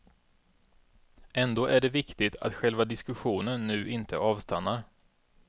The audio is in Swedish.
Ändå är det viktigt att själva diskussionen nu inte avstannar.